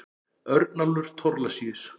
Örnólfur Thorlacius.